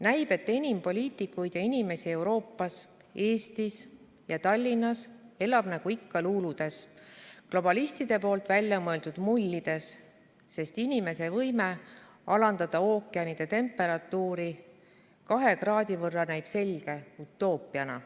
Näib, et enamik poliitikuid ja inimesi Euroopas, Eestis ja Tallinnas elab nagu ikka luuludes, globalistide poolt väljamõeldud mullides, sest inimese võime alandada ookeanide temperatuuri -2 kraadi võrra näib selge utoopiana.